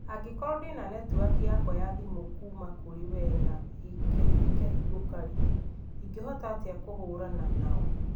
Angĩkorwo ndĩ na netiwaki yakwa ya thimũ kuuma kũrĩ we na ĩkahingũka-rĩ, ingĩhota atĩa kũhũũrana nao?